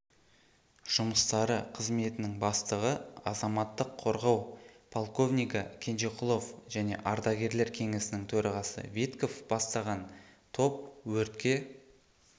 жұмыстары қызметінің бастығы азаматтық қорғау полковнигі кенжеқұлов және ардагерлер кеңесінің төрағасы витков бастаған топ өртке